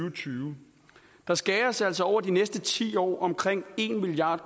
og tyve der skæres altså over de næste ti år omkring en milliard